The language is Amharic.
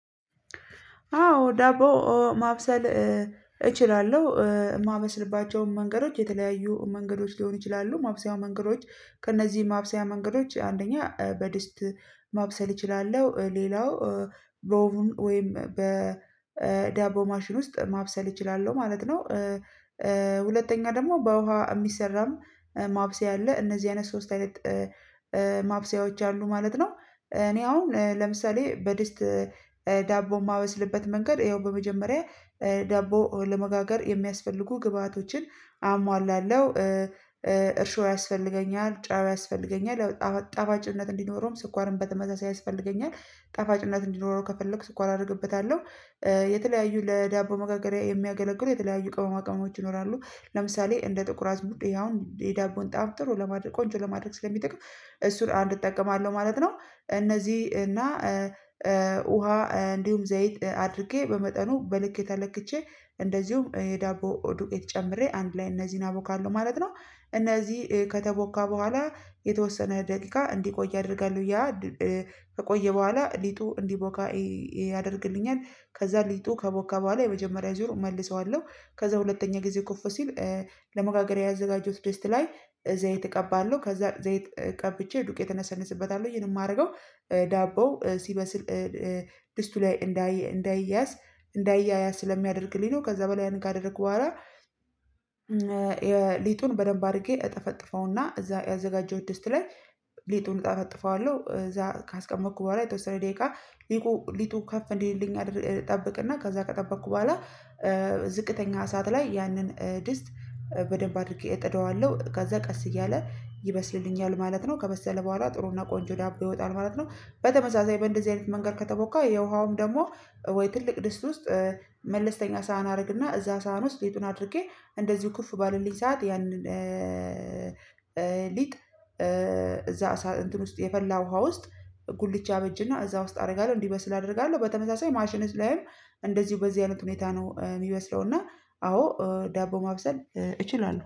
አዎ ዳቦ ማብሰል እችላለሁ የማበስልባቸውን መንገዶች የተለያዩ መንገዶች ሊሆኑ ይችላሉ ማብሰያው መንገዶች ከእነዚህ ማብሰያ መንገዶች አንደኛ በድስት ማብሰል እችላለሁ ሌላው በኦቭን ወይም በዳቦ ማሽን ውስጥ ማብሰል እችላለሁ ማለት ነው። ሁለተኛ ደግሞ በውሃ የሚሰራም ማብሰያ አለ እነዚህ አይነት ሶስት አይነት ማብሰያዎች አሉ ማለት ነው። እኔ አሁን ለምሳሌ በድስት ዳቦ የማበስልበት መንገድ ይኸው በመጀመሪያ ዳቦ ለመጋገር የሚያስፈልጉ ግብአቶችን አሟላለሁ እርሾ ያስፈልገኛል ጨው ያስፈልገኛል ያው ጣፋጭነት እንዲኖረውም ስኳርም በተመሳሳይ ያስፈልገኛል ጣፋጭነት እንዲኖረው ከፈለኩ ስኳር አደርግበታለሁ የተለያዩ ለዳቦ መጋገሪያ የሚያገለግሉ የተለያዩ ቅመማ ቅመሞች ይኖራሉ ለምሳሌ እንደ ጥቁር አዝሙድ ይሄ አሁን የዳቦን ጣዕም ጥሩ ለማድረግ ቆንጆ ለማድረግ ስለሚጠቅም እሱን አንድ እጠቀማለሁ ማለት ነው። እነዚህ እና ውሃ እንዲሁም ዘይት አድርጌ በመጠኑ በልክ ተለክቼ እንደዚሁም የዳቦ ዱቄት ጨምሬ አንድ ላይ እነዚህን አቦካለሁ ማለት ነው። እነዚህ ከተቦካ በኋላ የተወሰነ ደቂቃ እንዲቆይ አደርጋለሁ ያ ከቆየ በኋላ ሊጡ እንዲቦካ ያደርግልኛል። ከዛ ሊጡ ከቦካ በኋላ የመጀመሪያ ዙር እመልሰዋለሁ ከዛ ሁለተኛ ጊዜ ኩፍ ሲል ለመጋገሪያ ያዘጋጀሁት ድስት ላይ ዘይት እቀባለሁ ከዛ ዘይት ቀብቼ ዱቄት እነሰንስበታለው ይሄን የማደርገው ዳቦው ሲበስል ድስቱ ላይ እንዳይ እንዳይያያዝ እንዳይያያዝ ስለሚያደርግልኝ ነው። ከዛ በኋላ ያንን ካደረግኩ በኋላ ሊጡን በደንብ አድርጌ እጠፈጥፈውና እዛ ያዘጋጀሁት ድስታ ላይ ሊጡን እጠፈጥፈዋለሁ እዛ ካስቀመጥኩ በኋላ የተወሰነ ደቂቃ ሊጡ ሊጡ ከፍ እንዲልልኝ እጠብቅና ከዛ ከጠበቅኩ በኋላ ዝቅተኛ እሳት ላይ ያንን ድስት በደንብ አድርጌ እጥደዋለሁ ከዛ ቀስ እያለ ይበስልልኛል ማለት ነው ከበሰለ በኋላ ጥሩና ቆንጆ ዳቦ ይወጣል ማለት ነው። በተመሳሳይ በእንደዚህ አይነት መንገድ ከተቦካ የውሃውም ደግሞ ትልቅ ድስት ውስጥ መለስተኛ ሳህን አደረግና እዛ ሳህን ውስጥ ሊጡን አድርጌ እንደዚሁ ኩፍ ባለልኝ ሰዓት ያንን ሊጥ እዛ እንትን ውስጥ የፈላ ውሃ ውስጥ ጉልቻ አበጅና እዛ ውስጥ አደርጋለሁ እንዲበስል አደርጋለሁ። በተመሳሳይ ማሽንስ ላይም እንደዚሁ በዚህ አይነት ሁኔታ ነው የሚበስለው እና አዎ ዳቦ ማብሰል እችላለሁ